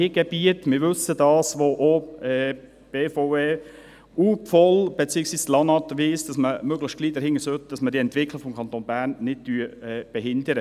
Es gibt Gebiete – das wissen wir –, bei welchen die BVE, beziehungsweise das LANAT will, dass man sich möglichst bald dahinter machen kann, damit wir die Entwicklung des Kantons Bern nicht behindern.